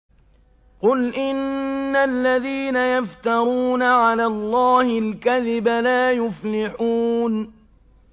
قُلْ إِنَّ الَّذِينَ يَفْتَرُونَ عَلَى اللَّهِ الْكَذِبَ لَا يُفْلِحُونَ